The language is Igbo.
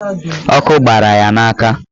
Ọkụ gbara ya n'aka.